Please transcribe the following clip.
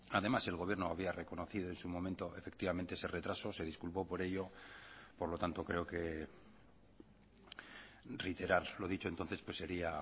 además el gobierno había reconocido en su momento efectivamente ese retraso se disculpó por ello por lo tanto creo que reiterar lo dicho entonces pues sería